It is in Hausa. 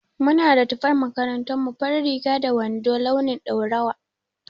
Muna da tufan makaranta farin riga da wando launin ɗaurawa